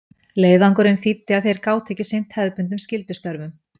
Leiðangurinn þýddi að þeir gátu ekki sinnt hefðbundnum skyldustörfum.